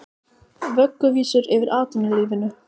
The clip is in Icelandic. Vögguvísur yfir atvinnulífinu